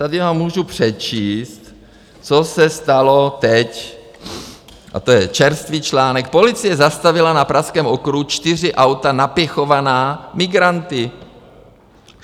Tady vám můžu přečíst, co se stalo teď - a to je čerstvý článek: Policie zastavila na Pražském okruhu čtyři auta napěchovaná migranty.